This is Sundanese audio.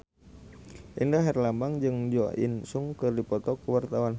Indra Herlambang jeung Jo In Sung keur dipoto ku wartawan